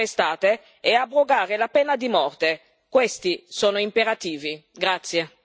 Liberare le persone arrestate e abrogare la pena di morte questi sono imperativi.